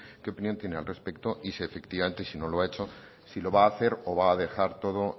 qué opinión tiene al respecto y si efectivamente si no lo ha hecho si lo va a hacer o lo va a dejar todo